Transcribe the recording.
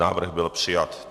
Návrh byl přijat.